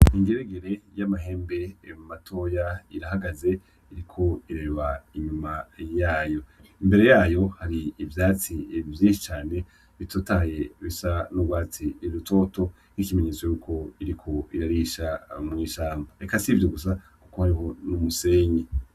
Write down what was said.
Ingeregere y'amahembe matoya irahagaze iriko iraba inyuma yayo, imbere yayo hari ivyatsi vyinshi bitotahaye bisa n'ugwatsi rutoto ikimenyetso yuko biriko birarisha mw'ishamba eka si ivyo gusa kuko hariho n'umusenyi.